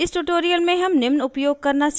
इस ट्यूटोरियल में हम निम्न उपयोग करना सीखेंगे